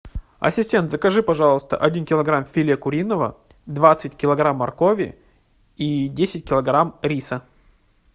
ассистент закажи пожалуйста один килограмм филе куриного двадцать килограмм моркови и десять килограмм риса